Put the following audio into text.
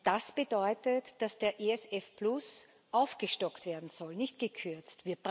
Das bedeutet, dass der ESF aufgestockt werden soll nicht gekürzt.